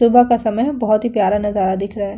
सुबह का समय है। बहोत ही प्यारा नजारा दिख रहा है।